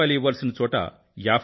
80 ఇవ్వాల్సిన చోట రూ